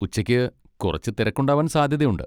ഉച്ചയ്ക്ക് കുറച്ച് തിരക്കുണ്ടാവാൻ സാധ്യതയുണ്ട്.